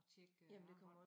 Tjekke armbånd